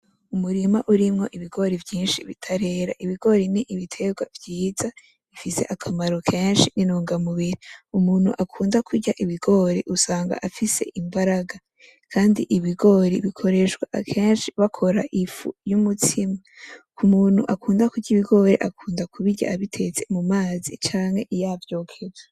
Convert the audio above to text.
Umurima urimwo ibigori vyinshi bitarera. Ibigori n'ibiterwa vyiza bifise akamaro kenshi intunga mubiri. Umuntu akunda kurya ibigori usanga afise imbaraga, kandi ibigori bikoreshwa akenshi bakora ifu y'umutsima, ku muntu akunda kurya ibigori akunda kubirya bitetse mu mazi canke yavyokeje.